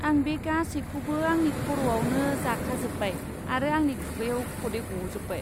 आं बे गासैखौबो आंनि खर'आवनो जाखाजोब्बाय आरो आंनि खुगायाव खदै गजोब्बाय।